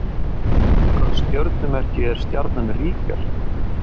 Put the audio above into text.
Í hvaða stjörnumerki er stjarnan Rígel?